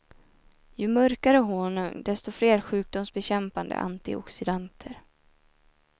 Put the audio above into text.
Ju mörkare honung, desto fler sjukdomsbekämpande antioxidanter.